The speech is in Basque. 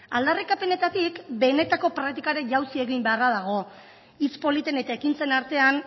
aldarrikapenetatik benetako praktikara jausi egin beharra dago hitz politen eta ekintzen artean